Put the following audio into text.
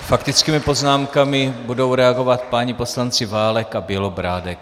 Faktickými poznámkami budou reagovat páni poslanci Válek a Bělobrádek.